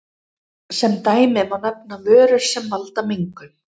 Sem dæmi má nefna vörur sem valda mengun.